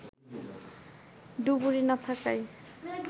ডুবুরি না থাকায়